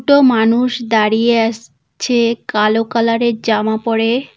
মানুষ দাঁড়িয়ে আস ছে কালো কালার এর জামা পরে।